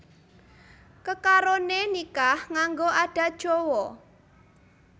Kekaroné nikah nganggo adat Jawa